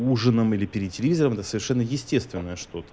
ужином или перед телевизором это совершенно естественное что то